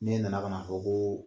Ne nana ka na fɔ ko